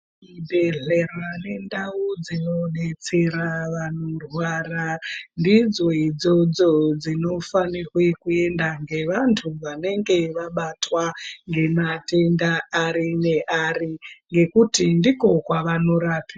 Zvibhehlera nendau dzinodetsera vano vanorwara ndidzo idzozdzo dzinofanirwe kuendwa nevantu vanenge vabatwa ngematenda ari neari ngekuti ndiko kwevanorapiwa.